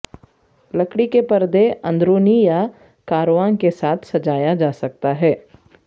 لکڑی کے پردے اندرونی یا کارواں کے ساتھ سجایا جا سکتا ہے